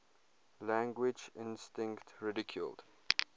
language instinct ridiculed